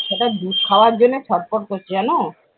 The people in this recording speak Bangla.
ছেলেটা দুধ খোয়ার জন্য ছট-ফট করছে জানো?